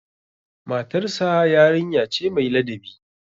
Matarsa yarinya ce mai ladabi.